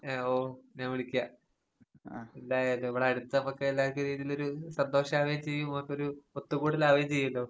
ഏഹ് ഓഹ് ഞാൻ വിളിക്കാം. എന്തായാലും ഇവടടുത്തമ്മക്കെല്ലാർക്കും രീതീലൊരു സന്തോഷാവേം ചെയ്യും, ഇമ്മക്കൊരു ഒത്തുകൂടലാവേം ചെയ്യൂലോ.